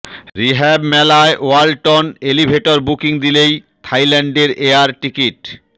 rehab মেলায় Walton elevator booking দিলেই থাইল্যান্ডের এয়ার টিকিট